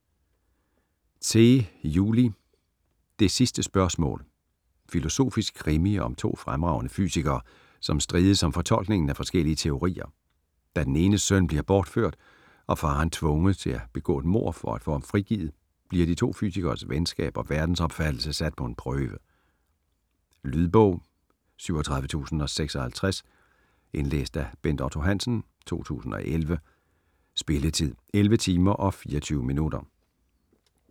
Zeh, Juli: Det sidste spørgsmål Filosofisk krimi om to fremragende fysikere, som strides om fortolkningen af forskellige teorier. Da den enes søn bliver bortført, og faderen tvunget til at begå et mord for at få ham frigivet, bliver de to fysikeres venskab og verdensopfattelse sat på en prøve. Lydbog 37056 Indlæst af Bent Otto Hansen, 2011. Spilletid: 11 timer, 24 minutter.